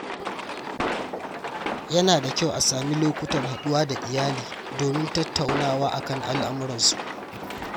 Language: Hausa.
Yana da kyau a sami lokutan haɗuwa da iyali domin tattaunawa kan al’amuran su.